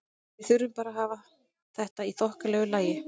Við þurfum bara að hafa þetta í þokkalegu lagi.